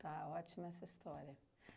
Está, ótima essa história.